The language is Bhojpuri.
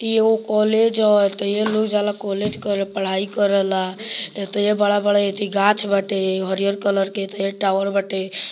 इ एगो कॉलेज हअ एतेइये लोग जाला कॉलेज करे पढाई करे ला एतेइये बड़ा-बड़ा अथी गाछ बाटे हरियर कलर के एतेइये टावर बाटे।